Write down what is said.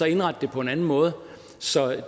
indrette det på en anden måde så